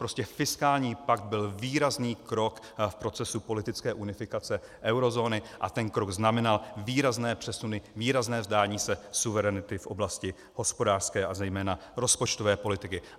Prostě fiskální pakt byl výrazný krok v procesu politické unifikace eurozóny a ten krok znamenal výrazné přesuny, výrazné vzdání se suverenity v oblasti hospodářské a zejména rozpočtové politiky.